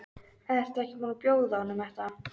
Ertu ekki búin að bjóða honum þetta?